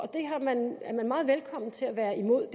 meget velkommen til at være imod